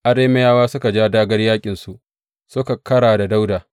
Arameyawa suka ja dāgār yaƙinsu, suka kara da Dawuda.